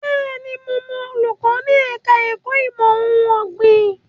Bẹ́ẹ̀ni, mo mọ olùkọ́ ní ẹ̀ka ẹ̀kó ìmọ̀ ohun ọ̀gbìn.